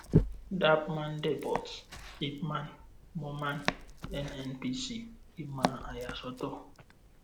dappman depot ipman moman nnpc ìmọ̀ àyàsọ́tọ̀.